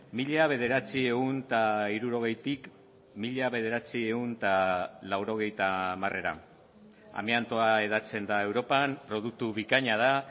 mila bederatziehun eta hirurogeitik mila bederatziehun eta laurogeita hamarera amiantoa hedatzen da europan produktu bikaina da